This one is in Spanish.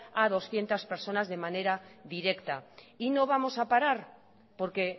a doscientos personas de manera directa y no vamos a parar porque